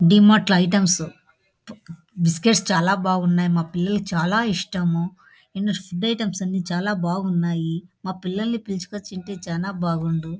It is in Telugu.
డీమర్ట్ లో ఐటమ్స్ బిస్కెట్స్ బాగున్నాయి .మా పిల్లలకి చాల ఇష్టము.ఇన్ని ఫుడ్ ఐటమ్స్ చాల బాగున్నాయి. మా పిల్లలనీ పిలుచుకొని వచ్చుంటే చాల బాగుండు.